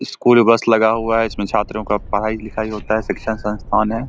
School bus लगा हुआ है इसमें छात्रों का पढ़ाई लिखाई होता है शिक्षण संस्थान है।